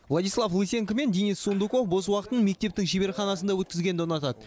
владислав лысенко мен денис сундуков бос уақытын мектептің шеберханасында өткізгенді ұнатады